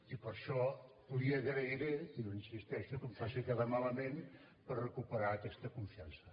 i per això li agrairé i hi insisteixo que em faci quedar malament per recuperar aquesta confiança